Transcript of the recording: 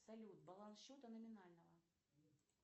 салют баланс счета номинального